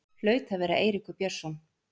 Hlaut að vera Eiríkur Björnsson.